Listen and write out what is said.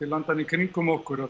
landanna í kringum okkur að